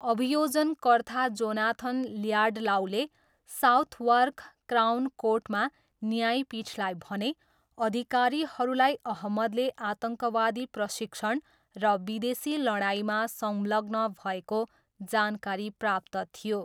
अभियोजनकर्ता Jonathan ल्याडलाऊले Southwark Crown कोर्टमा न्यायपीठलाई भने, अधिकारीहरूलाई अहमदले आतङ्कवादी प्रशिक्षण र विदेशी लडाइँमा संलग्न भएको जानकारी प्राप्त थियो।